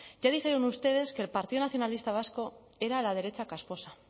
ya dijeron ustedes que el partido nacionalista vasco era la derecha casposa